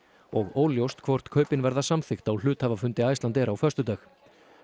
og óljóst hvort kaupin verða samþykkt á hluthafafundi Icelandair á föstudag